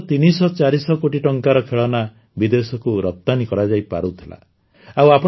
ପ୍ରଥମେ ମାତ୍ର ତିନିଶହଚାରିଶହ କୋଟି ଟଙ୍କାର ଖେଳନା ବିଦେଶକୁ ରପ୍ତାନୀ କରାଯାଇପାରୁଥିଲା